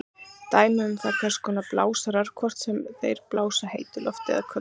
Dæmi um það eru hvers konar blásarar, hvort sem þeir blása heitu lofti eða köldu.